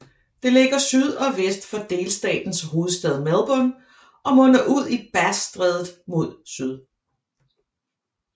Det ligger syd og vest for delstatens hovedstad Melbourne og munder ud i Bassstrædet mod syd